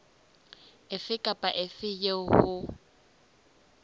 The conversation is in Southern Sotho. efe kapa efe eo ho